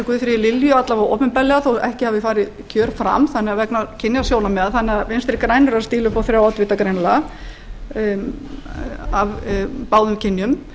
guðfríði lilju alla vega opinberlega þó að ekki hafi farið kjör fram vegna kynjasjónarmiða þannig að vinstri græn eru að stíla upp á þrjá oddvita greinilega af báðum kynjum